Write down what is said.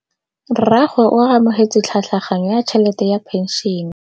Rragwe o amogetse tlhatlhaganyô ya tšhelête ya phenšene.